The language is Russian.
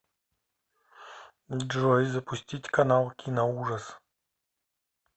джой запустить канал киноужас